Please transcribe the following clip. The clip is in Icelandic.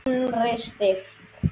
Innri styrk.